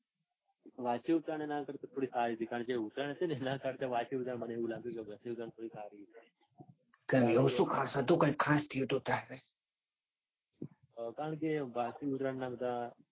વાસી ઉત્તરાયણ એના કરતા થોડી સારી હતી. કારણકે જે ઉત્તરાયણ હતી ને એના કરતા મને એવું લાગ્યું કે વાસી ઉત્તરાયણ સારી હતી. કેમ એવું શું ખાસ હતું. કાંઈ ખાસ થયું તું ત્યારે. કારણકે વાસી ઉત્તરાયણ ના બધા